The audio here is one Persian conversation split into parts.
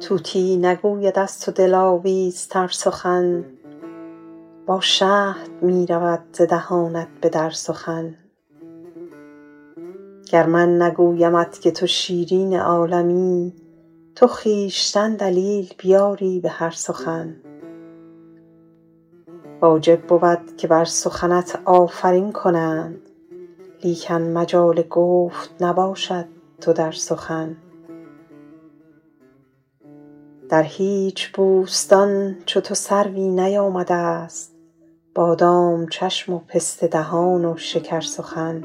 طوطی نگوید از تو دلاویزتر سخن با شهد می رود ز دهانت به در سخن گر من نگویمت که تو شیرین عالمی تو خویشتن دلیل بیاری به هر سخن واجب بود که بر سخنت آفرین کنند لیکن مجال گفت نباشد تو در سخن در هیچ بوستان چو تو سروی نیامده ست بادام چشم و پسته دهان و شکرسخن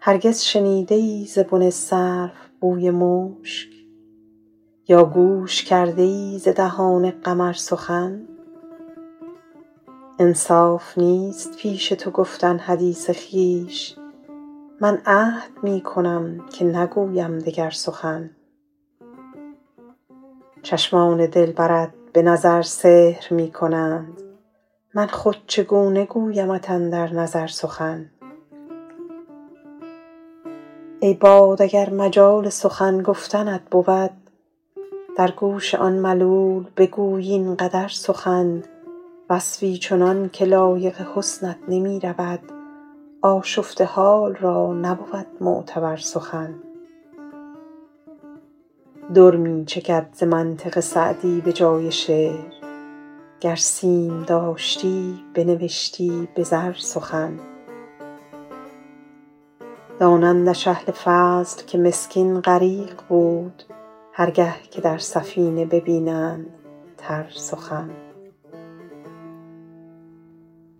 هرگز شنیده ای ز بن سرو بوی مشک یا گوش کرده ای ز دهان قمر سخن انصاف نیست پیش تو گفتن حدیث خویش من عهد می کنم که نگویم دگر سخن چشمان دلبرت به نظر سحر می کنند من خود چگونه گویمت اندر نظر سخن ای باد اگر مجال سخن گفتنت بود در گوش آن ملول بگوی این قدر سخن وصفی چنان که لایق حسنت نمی رود آشفته حال را نبود معتبر سخن در می چکد ز منطق سعدی به جای شعر گر سیم داشتی بنوشتی به زر سخن دانندش اهل فضل که مسکین غریق بود هر گه که در سفینه ببینند تر سخن